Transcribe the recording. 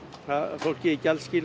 fólkið í